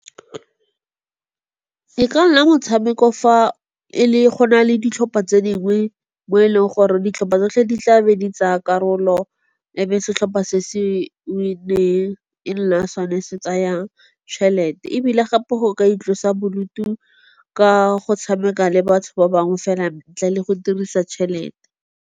E ka nna motshameko fa go na le ditlhopha tse dingwe mo e leng gore ditlhopha tsotlhe di tlabe di tsaa karolo ebe setlhopha se se winneng e nna sone se tsayang tšhelete. Ebile gape go ka itlosa bodutu ka go tshameka le batho ba bangwe fela ntle le go dirisa tšhelete.